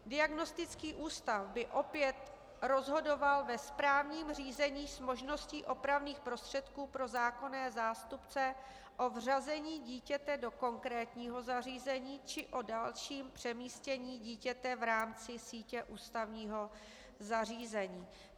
Diagnostický ústav by opět rozhodoval ve správním řízení s možností opravných prostředků pro zákonné zástupce o vřazení dítěte do konkrétního zařízení či o dalším přemístění dítěte v rámci sítě ústavního zařízení.